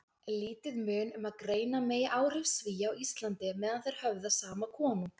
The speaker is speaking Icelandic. Lítið mun um að greina megi áhrif Svía á Íslandi meðan þeir höfðu sama konung.